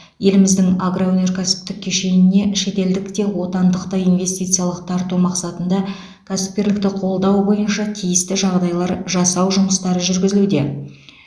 еліміздің агроөнеркәсіптік кешеніне шетелдік те отандық та инвестициялық тарту мақсатында кәсіпкерлікті қолдау бойынша тиісті жағдайлар жасау жұмыстары жүргізілуде